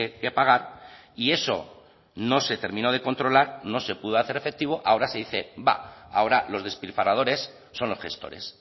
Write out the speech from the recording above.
que pagar y eso no se terminó de controlar no se pudo hacer efectivo ahora se dice bah ahora los despilfarradores son los gestores